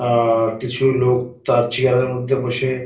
আহ কিছু লোক তার চেয়ার -এর মধ্যে বসে --